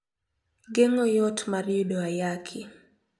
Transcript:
Geng`o yot mar yudo ayaki.